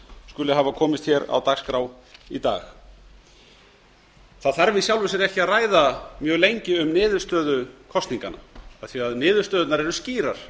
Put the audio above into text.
skuli hafa komist á dagskrá í dag það þarf í sjálfu sér ekki að ræða mjög lengi um niðurstöðu kosninganna af því að niðurstöðurnar eru skýrar